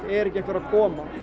er ekki einhver að koma